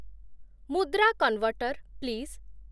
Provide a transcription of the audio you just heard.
Mudra converter, please